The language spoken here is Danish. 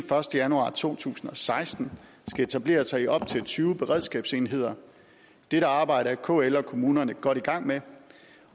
første januar to tusind og seksten skal etablere sig i op til tyve beredskabsenheder dette arbejde er kl og kommunerne godt i gang med